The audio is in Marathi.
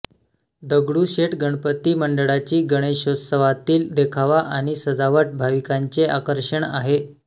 दगडूशेठ गणपती मंडळाची गणेशोत्सवातील देखावा आणि सजावट भाविकांचे आकर्षण आहे